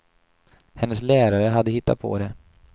Hennes lärare hade hittat på det.